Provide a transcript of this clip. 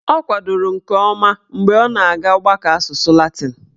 Ọ kwadoro nke ọma mgbe ọ na-aga ọgbakọ asụsụ latịn